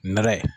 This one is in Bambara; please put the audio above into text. Nɛrɛ ye